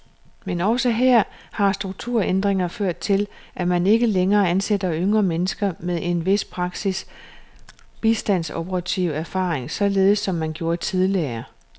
Men også her har strukturændringer ført til, at man ikke længere ansætter yngre mennesker med en vis praktisk bistandsoperativ erfaring, således som man gjorde tidligere.